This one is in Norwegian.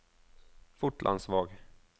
Fotlandsvåg